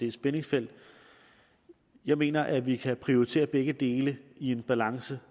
et spændingsfelt jeg mener at vi kan prioritere begge dele i en balance